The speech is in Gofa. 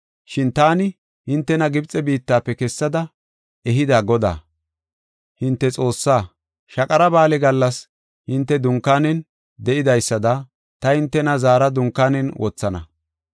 Shin taani hintena Gibxe biittafe kessada ehida Godaa, hinte Xoossaa; Shaqara Ba7aale gallas hinte dunkaanen de7idaysada ta hintena zaara dunkaanen wothana.